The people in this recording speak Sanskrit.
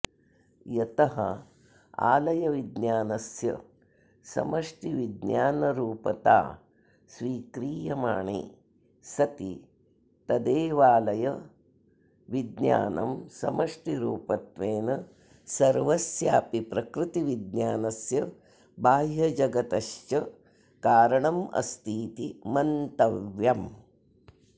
यत आलयविज्ञानस्य समष्टिविज्ञानरूपतास्वीक्रियमाणे सति तदेवाऽऽलय विज्ञानं समष्टिरूपत्वेन सर्वस्यापि प्रवृत्तिविज्ञानस्य बाह्यजगतश्च कारणमस्तीति मन्तव्यम्